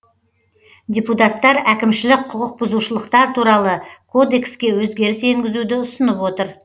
депутаттар әкімшілік құқық бұзушылықтар туралы кодекске өзгеріс енгізуді ұсынып отыр